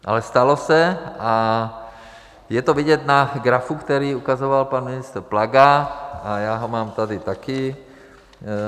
Ale stalo se a je to vidět na grafu, který ukazoval pan ministr Plaga, a já ho mám tady taky.